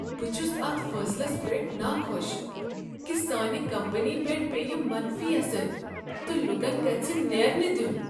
بہٕ چھُس اتھ فیصلس پیٹھ ناخوش کہ سٲنۍ کمپنی پیٹھ پیٚیہ منفی اثر تہٕ لوٗکن گژھہ نیرنہ دیُن۔